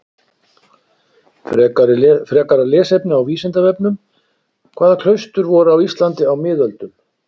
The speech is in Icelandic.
Frekara lesefni á Vísindavefnum: Hvaða klaustur voru á Íslandi á miðöldum?